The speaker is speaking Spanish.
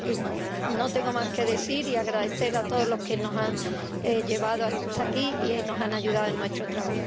Y no tengo más que decir, salvo agradecer a todos los que nos han llevado hasta aquí y nos han ayudado en nuestro trabajo.